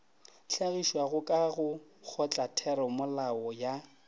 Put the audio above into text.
hlagišwago ka go kgotlatheramolao ya